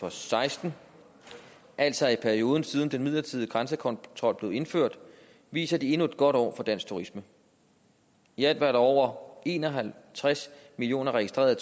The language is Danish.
og seksten altså i perioden siden den midlertidige grænsekontrol blev indført viser endnu et godt år for dansk turisme i alt var der over en og halvtreds millioner registrerede